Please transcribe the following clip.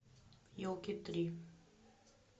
елки три